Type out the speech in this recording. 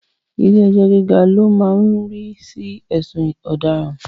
Ilẹ́ ẹjọ́ gíga lo máa ń rí sí ẹ̀sùn ọ̀daràn